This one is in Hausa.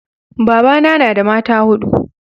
babana na da mata hudu